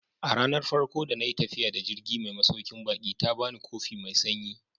A ranar farko da na yi tafiya da jirgi mai masaukin baki ta ba ni kofi mai sanyi.